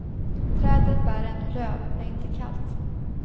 Träden bär ännu löv, det är inte kallt.